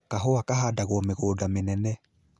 Kahũa kahandagwo mĩgũnda mĩnene